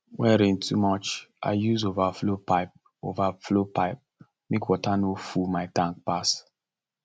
when rain too much i use overflow pipe overflow pipe make water no full my tank pass